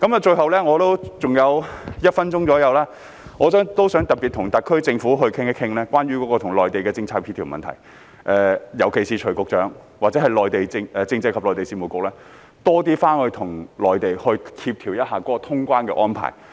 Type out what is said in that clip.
最後，我尚餘約1分鐘，我想特別與特區政府討論關於與內地的政策協調的問題，尤其是徐副局長或政制及內地事務局應多回去內地，與他們協調通關的安排。